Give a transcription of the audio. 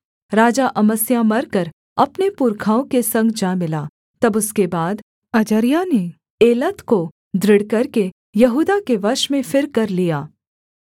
राजा अमस्याह मरकर अपने पुरखाओं के संग जा मिला तब उसके बाद अजर्याह ने एलत को दृढ़ करके यहूदा के वश में फिरकर लिया